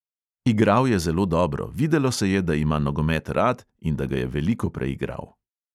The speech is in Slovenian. Igral je zelo dobro, videlo se je, da ima nogomet rad in da ga je veliko preigral.